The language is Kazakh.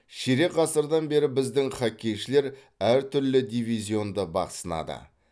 ширек ғасырдан бері біздің хоккейшілер әртүрлі дивизионда бақ сынады